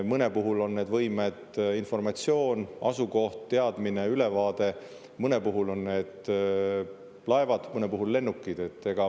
Mõne puhul on need võimed informatsioon, asukoht, teadmine, ülevaade, mõne puhul on need laevad, mõne puhul lennukid.